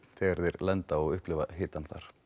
þegar þeir lenda og upplifa hitann